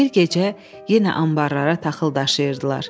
Bir gecə yenə anbarlara taxıl daşıyırdılar.